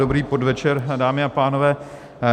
Dobrý podvečer, dámy a pánové.